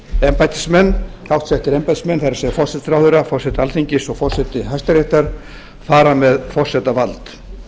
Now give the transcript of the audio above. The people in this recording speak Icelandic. embættismenn forsætisráðherra forseti alþingis og forseti hæstaréttar fara með forsetavald